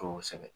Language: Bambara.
Kosɛbɛ